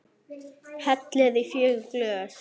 Hellið í fjögur glös.